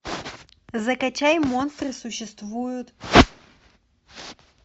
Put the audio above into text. закачай монстры существуют